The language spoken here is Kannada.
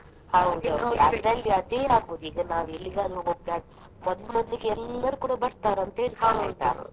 ಅದೇ ಆಗುದು ಈಗ ನಾವು ಎಲ್ಲಿಗಾದ್ರೂ ಮೊದ್~ ಮೊದ್ಲಿಗೆ ಎಲ್ಲರು ಕೂಡ ಬರ್ತಾರೆ ಅಂತ .